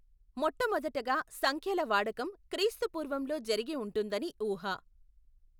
మొట్ట మొదటగా సంఖ్యల వాడకం క్రీస్తు పూర్వం లో జరిగిఉంటుందని ఊహ.